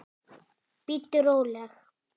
Bíddu róleg!